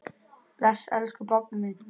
Bless, elsku pabbi minn.